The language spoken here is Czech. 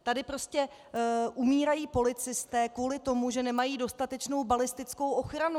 Tady prostě umírají policisté kvůli tomu, že nemají dostatečnou balistickou ochranu.